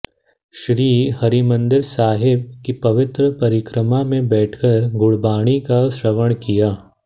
श्री हरिमंदिर साहिब की पवित्र परिक्रमा में बैठकर गुरबाणी का श्रवण किया